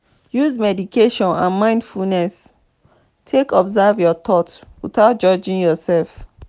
use meditation and mindfulness take observe your thought without judging yourself